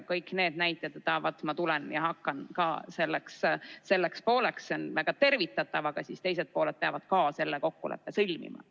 Kõik need näited, et vaat, ma tulen ja hakkan ka selleks pooleks, on väga tervitatavad, aga siis teised pooled peavad ka selle kokkuleppe sõlmima.